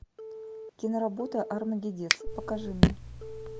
киноработа армагеддец покажи мне